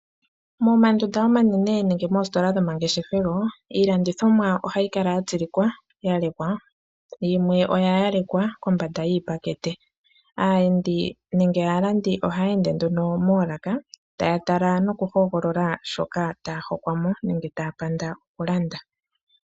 Momandunda omanene nenge moositola dhomangeshethelo, iilandithomwa ohayi kala ya tsilikwa, ya lekwa, yimwe oya yalekwa kombanda yiipakete. Aayendi nenge aalandi oha yeende nduno moolaka taya tala nokuhogolola, shoka taya hokwamo nenge taya panda okulanda.